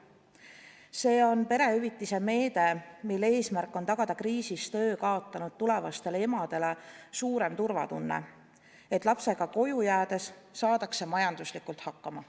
See on perehüvitise meede, mille eesmärk on tagada kriisis töö kaotanud tulevastele emadele suurem turvatunne, et lapsega koju jäädes saadakse majanduslikult hakkama.